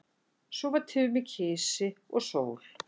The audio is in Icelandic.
Svo var Tumi kisi og sól.